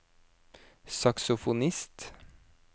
saksofonist